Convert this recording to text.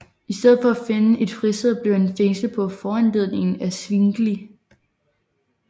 I stedet for at finde et fristed blev han fængslet på foranledning af Zwingli